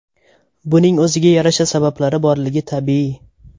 Buning o‘ziga yarasha sabablari borligi tabiiy.